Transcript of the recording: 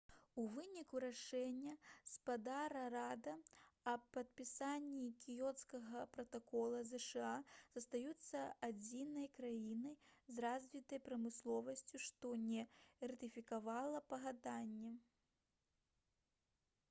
у выніку рашэння спадара рада аб падпісанні кіёцкага пратакола зша застаюцца адзінай краінай з развітай прамысловасцю што не ратыфікавала пагадненне